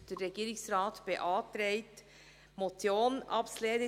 Der Regierungsrat beantragt, diese Motion abzulehnen.